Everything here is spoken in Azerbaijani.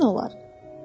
bu çətin olar.